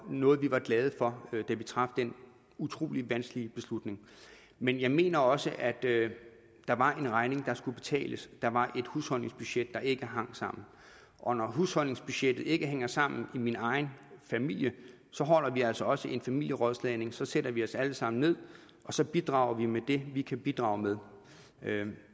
noget vi var glade for da vi traf den utrolig vanskelige beslutning men jeg mener også at der var en regning der skulle betales der var et husholdningsbudget der ikke hang sammen og når husholdningsbudgettet ikke hænger sammen i min egen familie holder vi altså også en familierådslagning så sætter vi os alle sammen ned og så bidrager vi med det vi kan bidrage med